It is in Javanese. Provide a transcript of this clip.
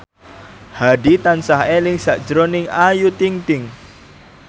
Hadi tansah eling sakjroning Ayu Ting ting